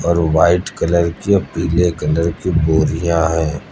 और white colour की और पीले कलर की बोरियां है।